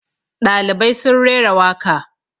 ɗalibai sun rera waka